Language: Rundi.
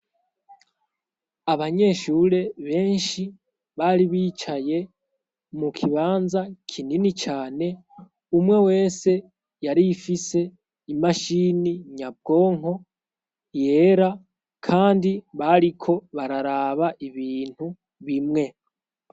Abanyeshure benshi bari bicaye mu kibanza kinini cane. Umwe wese yari afise imashini nyabwonko yera, kandi bariko bararaba ibintu bimwe.